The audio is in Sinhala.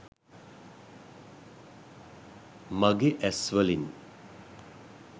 mage as walin